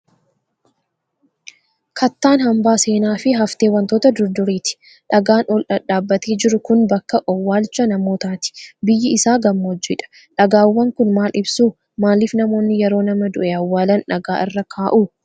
Kattaan hambaa seenaa fi haftee wantoota durduriiti. Dhagaan ol dhadhaabbatee jiru kun bakka owwaalcha namootaati. Biyyi isaa gammoojji dha. Dhagaawwan kun maal ibsu? Maaliif namoonni yeroo nama du'e owwaalan dhagaa irra kaa'u?